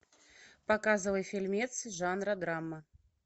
показывай фильмец жанра драма